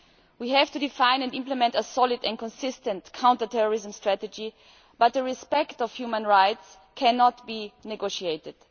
We have to define and implement a solid and consistent counter terrorism strategy, but the respect of human rights cannot be negotiated.